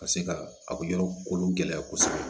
Ka se ka a yɔrɔ kolo gɛlɛya kosɛbɛ